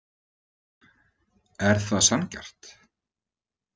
Er það sanngjarnt?